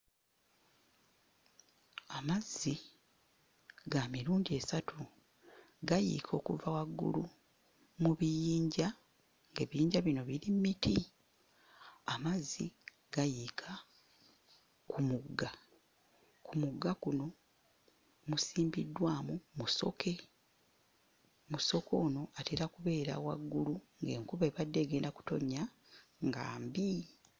Amazzi ga mirundi esatu gayiika okuva waggulu mu biyinja, ebiyinja bino biri mmiti. Amazzi gano gayiika ku mugga. Ku mugga kuno musimbiddwamu Musoke, Musoke ono atera kubeera waggulu ng'enkuba ebadde egenda kutonnya nga mbi.